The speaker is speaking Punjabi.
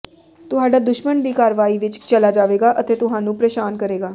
ਤੁਹਾਡਾ ਦੁਸ਼ਮਣ ਦੀ ਕਾਰਵਾਈ ਵਿੱਚ ਚਲਾ ਜਾਵੇਗਾ ਅਤੇ ਤੁਹਾਨੂੰ ਪ੍ਰੇਸ਼ਾਨ ਕਰੇਗਾ